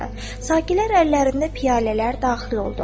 Sakilər əllərində piyalələr daxil oldu.